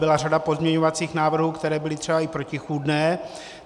Byla řada pozměňovacích návrhů, které byly třeba i protichůdné.